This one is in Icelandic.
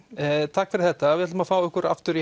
takk fyrir þetta við ætlum að fá ykkur aftur í